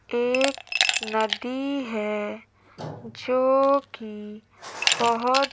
एक नदी है जोकि बहोत--